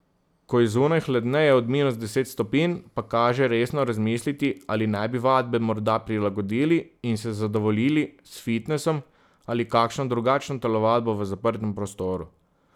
Ko je zunaj hladneje od minus deset stopinj, pa kaže resno razmisliti, ali ne bi vadbe morda prilagodili in se zadovoljili s fitnesom ali kakšno drugačno telovadbo v zaprtem prostoru.